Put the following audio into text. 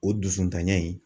O dusuntanya in